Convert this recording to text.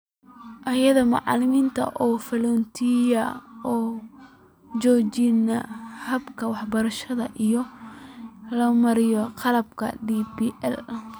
Iyadoo macalinku uu fududeynayo oo uu xoojinayo habka waxbarashada iyada oo loo marayo qalabka DPL.